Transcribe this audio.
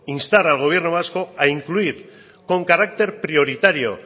instar al gobierno vasco a incluir con carácter prioritario